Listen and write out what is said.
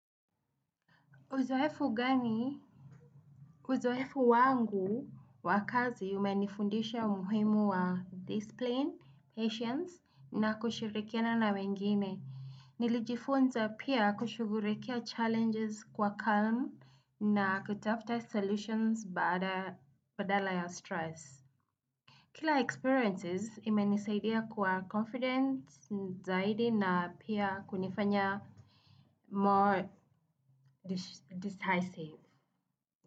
Uzoefu gani? Uzoefu wangu wa kazi umenifundisha umuhimu wa discipline, patience na kushirikiana na wengine. Nilijifunza pia kushughulikia challenges kwa calm na kutafuta solutions badala ya stress. Kila experiences imenisaidia kwa confidence zaidi na pia kunifanya more decisive.